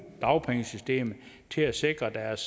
dagpengesystemet til at sikre deres